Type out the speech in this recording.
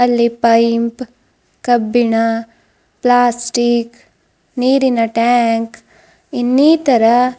ಅಲ್ಲಿ ಪೈಂಪ್ ಕಬ್ಬಿಣ ಪ್ಲಾಸ್ಟಿಕ್ ನೀರಿನ ಟ್ಯಾಂಕ್ ಇನ್ನೀತರ--